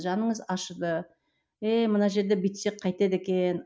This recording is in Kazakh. жаныңыз ашыды еее мына жерде бүйтсек қайтеді екен